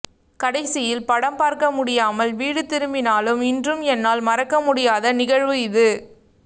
கடைசியில் படம் பார்க்க முடியாமல் வீடு திரும்பினாலும் இன்று ம் என்னால் மறக்கமுடியாத நிகழ்வு இது